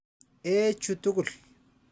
Ee chu tukul.